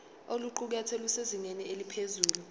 oluqukethwe lusezingeni eliphezulu